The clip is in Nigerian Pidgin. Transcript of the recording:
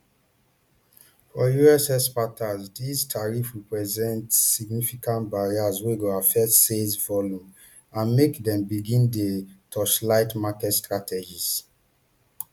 for us exporters these tariffs represent significant barrier wey go affect sales volumes and make dem begin dey torchlight market strategies